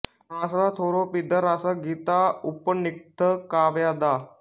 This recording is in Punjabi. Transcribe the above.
ਫ਼ਰਾਂਸ ਦਾ ਥੋਰੋ ਪੀਦਾ ਰਸ ਗੀਤਾਉਪਨਿਖਦ ਕਾਵਯ ਦਾ